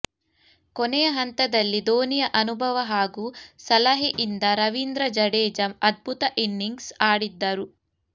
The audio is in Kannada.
ಕೊನೆಯ ಹಂತದಲ್ಲಿ ಧೋನಿಯ ಅನುಭವ ಹಾಗೂ ಸಲಹೆಯಿಂದ ರವೀಂದ್ರ ಜಡೇಜ ಅದ್ಭುತ ಇನಿಂಗ್ಸ್ ಆಡಿದ್ದರು